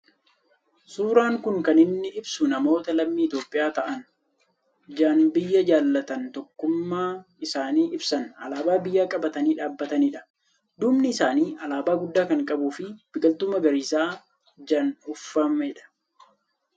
Suuraan kun kan inni ibsu namoota lammii Itoophiyaa ta'an, jan biyya jaalatan, tokkumnaa isaanii ibsan, alaabaa biyyaa qabatanii dhaabatanidha. Duubni isaanii alaabaa guddaa kan qabuu fi biqiltuu magariisaan jan uwwifamedha.